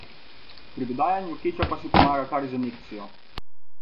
Pri dodajanju kečapa si pomaga kar z injekcijo.